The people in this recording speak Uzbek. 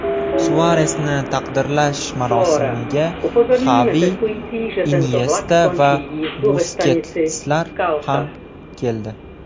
Suaresni taqdirlash marosimiga Xavi, Inyesta va Busketslar ham keldi.